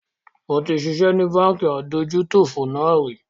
Mo ti ṣiṣẹ́ ni Báńkì adójútòfò náà rì